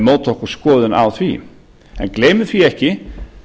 móta okkur skoðun á því en gleymum því ekki